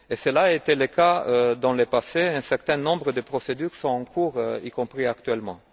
Cela a été le cas dans le passé, un certain nombre de procédures sont en cours, y compris actuellement.